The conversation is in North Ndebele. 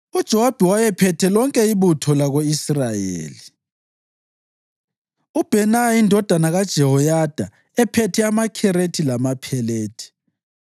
UJowabi wayephethe lonke ibutho lako-Israyeli; uBhenaya indodana kaJehoyada ephethe amaKherethi lamaPhelethi;